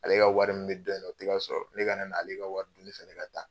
Ale ka wari min bɛ dɔ in na o tɛ ka sɔrɔ, ne ka na'ale ka wari dun ne fɛnɛ ka taa.